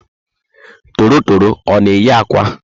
Torotoro ọ na eyi ákwà?